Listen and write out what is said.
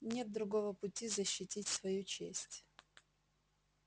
нет другого пути защитить свою честь